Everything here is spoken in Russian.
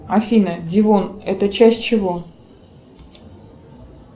афина дивон это часть чего